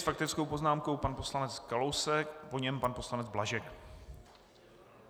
S faktickou poznámkou pan poslanec Kalousek, po něm pan poslanec Blažek.